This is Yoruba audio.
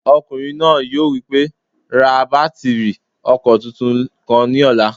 Ọkùnrin náà yóò wí pé "ra bátìrì ọkọ̀ tuntun kan ní ọ̀la!"